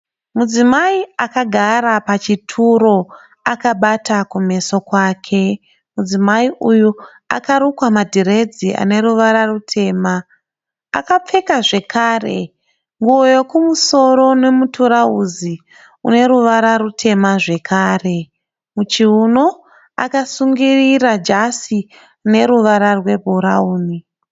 Mudzimai akagara pachituro akabata kumeso kwake. Mudzimai uyu akarukwa madhiredzi ane ruvara rutema. Akapfeka zvekare nguwo yokumosoro nemutirauzi rineruvara rutema zvekare. Muchiuno akasungirira jazi rune ruvara rwebhurawuni.